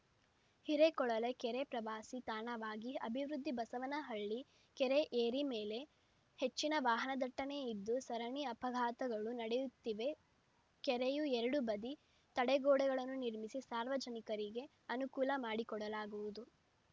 ಹಿರೇಕೊಳಲೆ ಕೆರೆ ಪ್ರವಾಸಿ ತಾಣವಾಗಿ ಅಭಿವೃದ್ಧಿ ಬಸವನಹಳ್ಳಿ ಕೆರೆ ಏರಿ ಮೇಲೆ ಹೆಚ್ಚಿನ ವಾಹನದಟ್ಟಣೆಯಿದ್ದು ಸರಣಿ ಅಪಘಾತಗಳು ನಡೆಯುತ್ತಿವೆ ಕೆರೆಯ ಎರಡೂ ಬದಿ ತಡೆಗೋಡೆಗಳನ್ನು ನಿರ್ಮಿಸಿ ಸಾರ್ವಜನಿಕರಿಗೆ ಅನುಕೂಲ ಮಾಡಿಕೊಡಲಾಗುವುದು